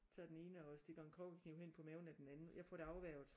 Tager den ene og stikker en kokkekniv hen på maven af den anden jeg får det afværget